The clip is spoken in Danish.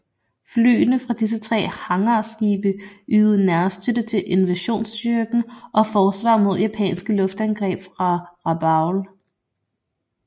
Flyene fra disse tre hangarskibe ydede nærstøtte til invasionsstyrken og forsvar mod japanske luftangreb fra Rabaul